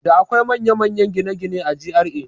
Da akwai manya manyan gine-gine a GRA